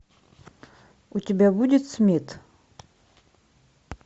у тебя будет смит